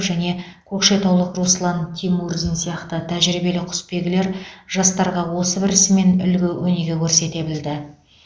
және көкшетаулық руслан тимурзин сияқты тәжірбиелі құсбегілер жастарға осы бір ісімен үлгі өнеге көрсете білді